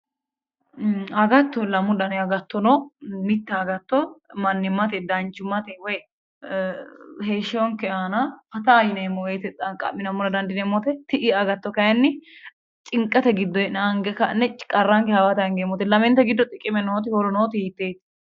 Agatto lamu dani agatto no mitte agatto mannimmate danchummate woy heeshshonke aana fataa yineemmo woyte xaqqa'minammora dandiineemmote ti'i agatto kayinni cinqete giddo hee'ne ange ka'ne qarranke hawate angeemmote lamente giddo xiqime nooti horo nooti hiitteeti